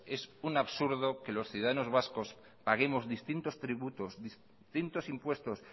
es un absurdo que los ciudadanos vascos paguemos distintos tributos distintos impuestos